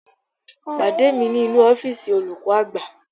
Pàdé mi nínú ọ́fíìsì olùkọ́ àgbà